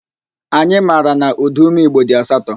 Anyị mara na ụdaume igbo dị asatọ